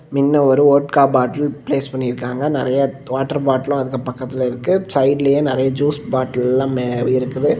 மின்ன ஒரு vodka bottle place பன்னிருக்காங்க நெறய வ் வாட்டர் பாட்டிலும் அந்த பக்கத்துல இருக்கு சைடுலயே நெறய ஜூஸ் பாட்டில்லாம் மே இருக்குது.